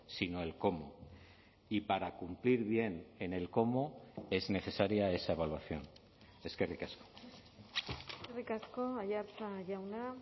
sino el cómo y para cumplir bien en el cómo es necesaria esa evaluación eskerrik asko eskerrik asko aiartza jauna